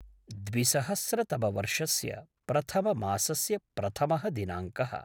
द्विसहस्रतमवर्षस्य प्रथममासस्य प्रथमः दिनाङ्कः